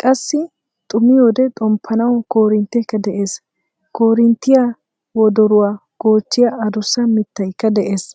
qassi xuumiyoode xomppanawu korintteekka de'ees. korinttiyaa wodoruwaa goochchiyaa adussa mittaykka de'ees.